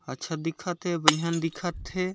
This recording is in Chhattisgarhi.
अच्छा दिखत हे बइहन दिखत हे।